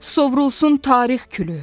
Sovrulsun tarix külü.